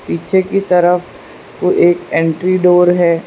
पीछे की तरफ कोई एक एंट्री डोर है।